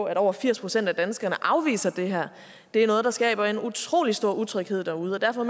at over firs procent af danskerne afviser det her det er noget der skaber en utrolig stor utryghed derude derfor